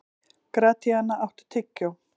Gratíana, áttu tyggjó?